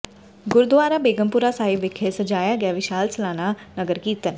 ਗੁਰਦੁਆਰਾ ਬੇਗਮਪੁਰਾ ਸਾਹਿਬ ਵਿਖੇ ਸਜਾਇਆ ਗਿਆ ਵਿਸ਼ਾਲ ਸਾਲਾਨਾ ਨਗਰ ਕੀਰਤਨ